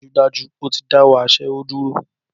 Dájúdájú! Ó ti dáwọ́ aṣẹ́wó dúró